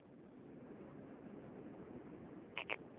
merkwaardige mense opgelewer